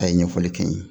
A ye ɲɛfɔli kɛ n ye